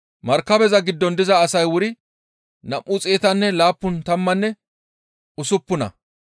Markabeza giddon diza asay wuri nam7u xeetanne laappun tammanne usuppuna.